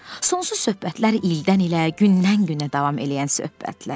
Sonsuz söhbətlər ildən ilə, gündən günə davam eləyən söhbətlər.